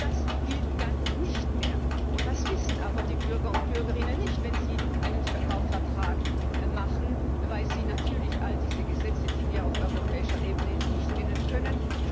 Das gilt dann nicht mehr das wissen aber die Bürger und Bürgerinnen nicht wenn sie einen Kaufvertrag abschließen, weil sie natürlich all diese Gesetze, die wir auf europäischer Ebene haben, nicht kennen können.